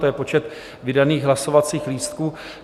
To je počet vydaných hlasovacích lístků.